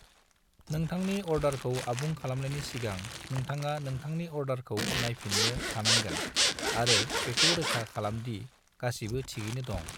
नोथांनि अर्डारखौ आबुं खालामनायनि सिगां, नोंथाङा नोंथांनि अर्डारखौ नायफिननो हानांगोन आरो बेखौ रोखा खालामदि गासिबो थिगैनो दं।